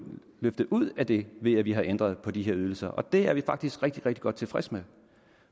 løftet ud af den ved at vi har ændret på de her ydelser det er vi faktisk rigtig rigtig godt tilfredse med og